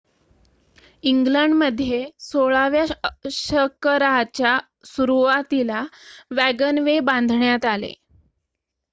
इग्लंडमध्ये १६ व्या शकराच्या सुरुवातीला वॅगनवे बांधण्यात आले